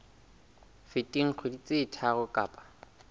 feteng dikgwedi tse tharo kapa